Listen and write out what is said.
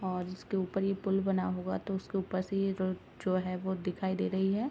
और जिसके ऊपर ये पुल बना हुआ तो उसके पर से ये जो है वो दिखाई दे रही है।